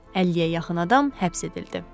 Əlliyə yaxın adam həbs edildi.